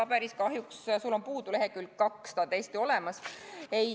Nendest paberitest on sul kahjuks puudu lehekülg 2, ehkki ta on täiesti olemas.